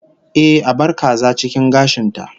Ehh, a bar kaza cikin gashin ta